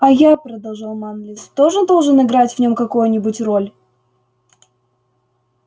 а я продолжал манлис тоже должен играть в нём какое-нибудь роль